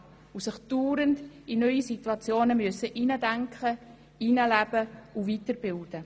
Sie müssen sich fortwährend in neue Situationen hineindenken, hineinleben und sich weiterbilden.